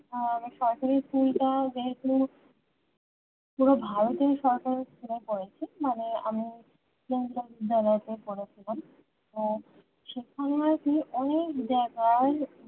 আহ সরকারি school তা যেহেতু পুরো ভারতের সরকারি school এ পড়েছি মানে আমি কেন্দ্রীয় বিদ্যালয় তে পড়েছিলাম তা সেখানে আরকি অনেক জায়গায়